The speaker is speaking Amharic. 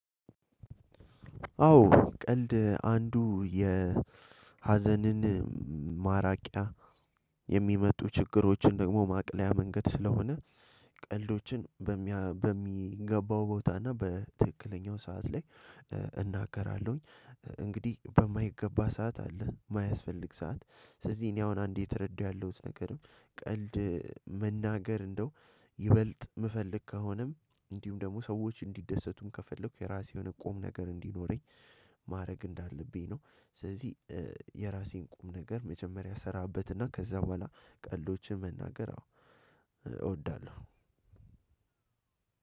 አዎ ቀልድ አንዱ የሀዘንን ማራቂያ የሚመጡ ችግሮችን ደግሞ ማቅለያ መንገድ ስለሆነ ቀልዶችን በሚገባው ቦታ እና በትክክለኛው ሰዓት ላይ እናገራለሁኝ። እንግዲህ በማይገባ ሰዓት አለ የማያስፈልግ ሰዓት ስለዚህ እኔ አሁን አንዴ የ የተረዳሁት ነገርም ቀልድ መናገር እንደው ይበልጥ የምፈልግ ከሆነም እንዲሁም ደግሞ ሰዎች እንዲደሰቱም ከፈለኩ የራሴውን ቁም ነገር እንዲኖረኝ- ማድረግ እንዳለብኝ ነው። ስለዚህ የራሴን ቁም ነገር መጀመሪያ እስራበትና ከዛ በኋላ ቀልዶችን መናገር እውዳለሁ።